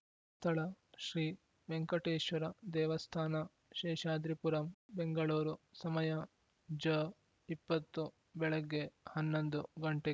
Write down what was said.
ಸ್ಥಳ ಶ್ರೀ ವೆಂಕಟೇಶ್ವರ ದೇವಸ್ಥಾನ ಶೇಷಾದ್ರಿಪುರಂ ಬೆಂಗಳೂರು ಸಮಯ ಜ ಇಪ್ಪತ್ತು ಬೆಳಿಗ್ಗೆ ಹನ್ನೊಂದು ಗಂಟೆ